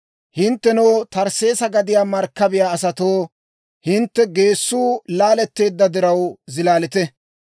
Hinttenoo, Tarsseesa gadiyaa markkabiyaa asatoo, hintte geessuu laaletteedda diraw, zilaalite.